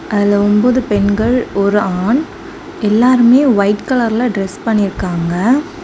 அதுல ஒன்பது பெண்கள் ஒரு ஆண் எல்லாருமே ஒயிட் கலர்ல டிரஸ் பண்ணிருக்காங்க.